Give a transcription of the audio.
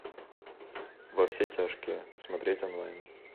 во все тяжкие смотреть онлайн